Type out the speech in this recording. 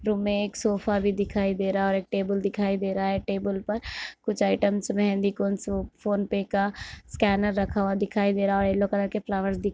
room में एक sofa भी दिखाई दे रहा है और एक टेबल दिखाई दे रहा है टेबल पर कुछ items mehndi cone PhonePe का स्कैनर रखा हुआ दिखाई दे रहा है और येलो कलर के फ्लावर्स दिख --